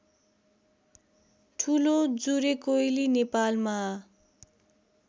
ठुलो जुरेकोइली नेपालमा